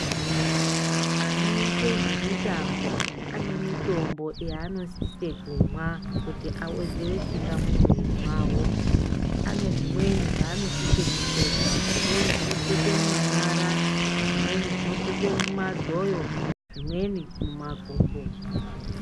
Anoite zve mitambo ane mitombo yaano sise kumwa kuti awedzere simba mu mwiri mavo ane zvimweni zvaano sise kupfeka zvimweni zvino pfekwe mu manyara zvimweni zvino pfekwe mu madhoyo zvimweni mu makumbo.